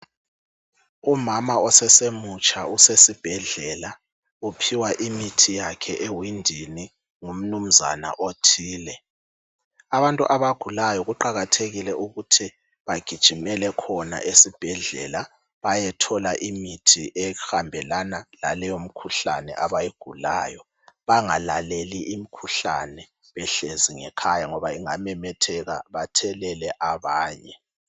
Umama osesemutsha usesibhedlela, uphiwa imithi yakhe ewindini ngumnumnzana othile. Abantu abagulayo kuqakathekile ukuthi bagijimele khona esibhedlela bayethola imithi ehambelana laleyo mikhuhlane abayigulayo, bangalaleli imikhuhlane behlezi ngekhaya ngoba ingamemetheka bathelele abanye.